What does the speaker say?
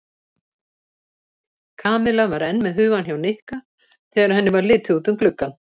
Kamilla var enn með hugann hjá Nikka þegar henni var litið út um gluggann.